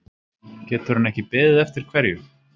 Getur hann ekki beðið eftir hverju?